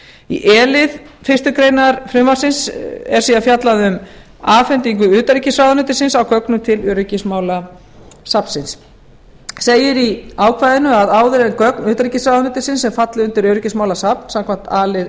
í e lið fyrstu grein frumvarpsins er síðan fjallað um afhendingu utanríkisráðuneytisins á gögnum til öryggismálasafnsins segir í ákvæðinu að áður en gögn utanríkisráðuneytisins sem falla undir öryggismálasafn samkvæmt a lið